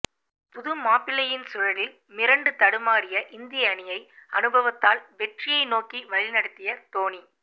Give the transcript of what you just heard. புதுமாப்பிள்ளையின் சுழலில் மிரண்டு தடுமாறிய இந்திய அணியை அனுபவத்தால் வெற்றியை நோக்கி வழிநடத்திய டோனி